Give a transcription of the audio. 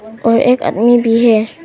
और एक आदमी भी है।